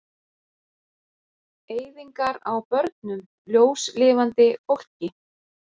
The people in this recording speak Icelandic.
Eyðingar á börnum, ljóslifandi fólki.